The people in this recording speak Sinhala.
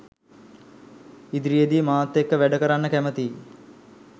ඉදිරියේදී මාත් එක්ක වැඩ කරන්න කැමතියි